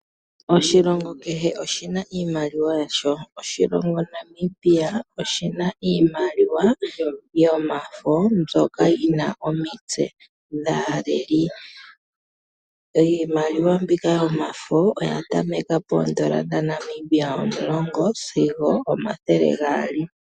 Oshilongo kehe oshina iimaliwa yasho. Oshilongo Namibia oshina iimaliwa yomafo mbyoka yina omitse dhaaleli. Iimaliwa mbika yomafo oya tameka poondola dha Namibia omulongo sigo omathele gaali.